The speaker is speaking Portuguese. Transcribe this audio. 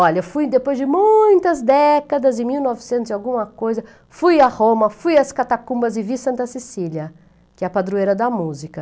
Olha, fui depois de muitas décadas, em mil novecentos e alguma coisa, fui a Roma, fui às catacumbas e vi Santa Cecília, que é a padroeira da música.